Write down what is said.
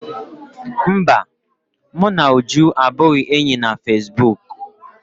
Mba, mụ na Uju abụghị enyi na fesibuuku